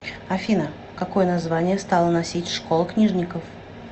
афина какое название стала носить школа книжников